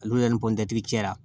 Olu yɛrɛ ni cɛla